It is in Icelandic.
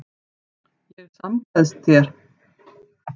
Ég samgleðst þér.